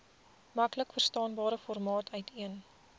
maklikverstaanbare formaat uiteen